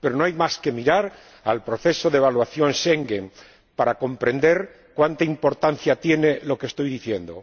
Pero no hay más que mirar el proceso de evaluación Schengen para comprender cuánta importancia tiene lo que estoy diciendo.